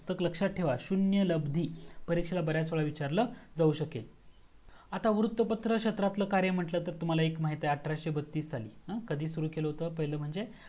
लक्षात ठेवा शून्य लब्दी परीक्षेला बर्‍याच वेळेस विचारलं जाऊ शकेल आता वृत पत्राच्या क्षेत्रातल कार्य म्हटलं तर मला एक माहीत आहे अठराशे बत्तीस साली कधी सुरू केलं होतं म्हणजे